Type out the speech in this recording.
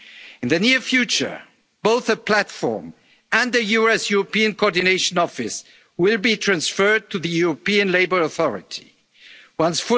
young people. In the near future, both the platform and the US-European coordination office will be transferred to the European Labour